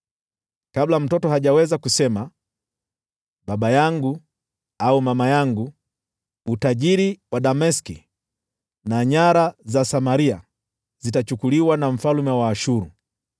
Kabla mtoto hajaweza kusema ‘Baba yangu’ au ‘Mama yangu,’ utajiri wa Dameski na nyara za Samaria zitachukuliwa na mfalme wa Ashuru.”